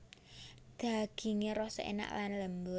Dagingé rasa énak lan lembut